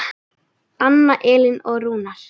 Anna Elín og Rúnar.